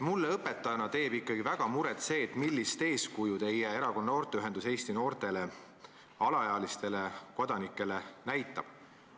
Mulle õpetajana teeb ikkagi väga muret see, millist eeskuju teie erakonna noorteühendus Eesti noortele, alaealistele kodanikele näitab.